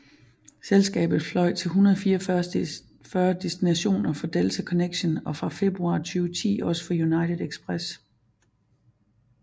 Selskabet fløj til 144 destinationer for Delta Connection og fra februar 2010 også for United Express